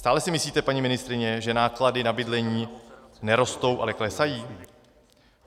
Stále si myslíte, paní ministryně, že náklady na bydlení nerostou, ale klesají?